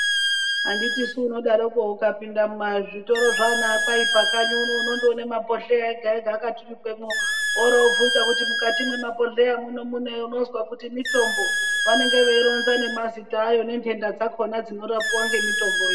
Anditisu unodarokwo ukapinda mumazvitoro zvana Kwaipa kanyi uno unondoona mabhodhleya ega ega anenge akaturikwamwo woro wondovunza kuti mukati mwemabhodhleya munei, unozwa kuti mitombo ondoronza nemazita awo nezvitenda zvacho zvinorapwa ngemitomboyo.